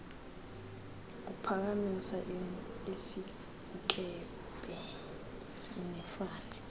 uphakamisa isinkempe nifane